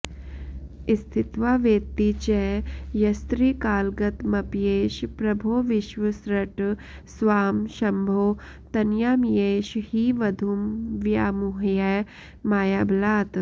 स्थित्वा वेत्ति च यस्त्रिकालगतमप्येष प्रभो विश्वसृट् स्वां शम्भो तनयामियेष हि वधूं व्यामुह्य मायाबलात्